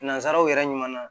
Nanzaraw yɛrɛ ɲuman na